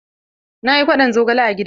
Na yi kwaɗon zogale a gidan mu.